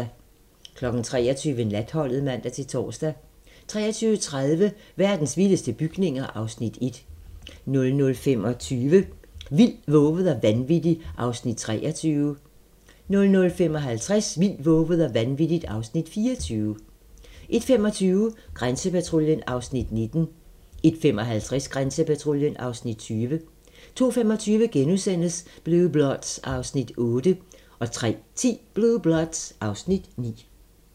23:00: Natholdet (man-tor) 23:30: Verdens vildeste bygninger (Afs. 1) 00:25: Vildt, vovet og vanvittigt (Afs. 23) 00:55: Vildt, vovet og vanvittigt (Afs. 24) 01:25: Grænsepatruljen (Afs. 19) 01:55: Grænsepatruljen (Afs. 20) 02:25: Blue Bloods (Afs. 8)* 03:10: Blue Bloods (Afs. 9)